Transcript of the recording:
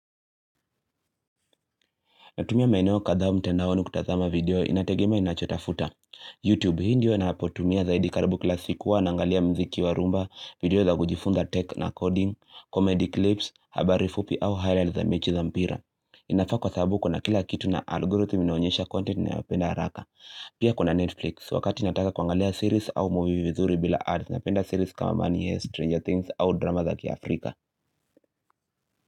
Natumia maeneo kadhaa mtandaoni kutazama video inategema ninachotafuta YouTube hii ndio napotumia zaidi karibu kila siku huwa naangalia muziki wa rhumba video za kujifunza tech na coding, comedy clips, habari fupi au highlight za mechi za mpira inafaa kwa sababu kuna kila kitu na algorithm inaonyesha content ninayopenda haraka Pia kuna Netflix wakati nataka kuangalia series au movie vizuri bila ads Napenda series kama money hest Stranger things au drama za kiafrika.